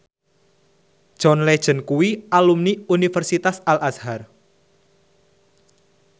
John Legend kuwi alumni Universitas Al Azhar